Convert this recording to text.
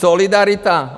Solidarita?